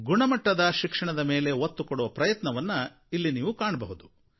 ಗುಣಮಟ್ಟದ ಶಿಕ್ಷಣದ ಮೇಲೆ ಒತ್ತುಕೊಡುವ ಪ್ರಯತ್ನವನ್ನು ಇಲ್ಲಿ ನೀವು ಕಾಣಬಹುದು